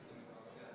Ruuben Kaalep, palun!